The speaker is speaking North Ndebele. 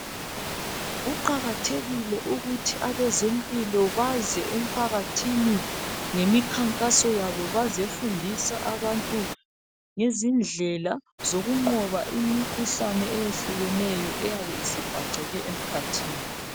Kuqakathekile ukuthi abezempilo baze emphakathini ngemikhankaso yabo bazefundisa abantu ngezindlela zokunqoba imikhuhlane eyehlukeneyo eyabe isibhaceke emkhathini.